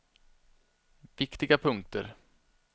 viktiga punkter